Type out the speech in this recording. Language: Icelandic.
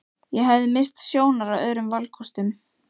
Ég hafði misst sjónar á öðrum valkostum.